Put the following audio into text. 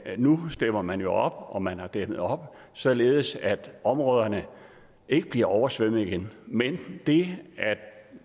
nu stepper man jo op og man har dæmmet op således at områderne ikke bliver oversvømmet igen men vi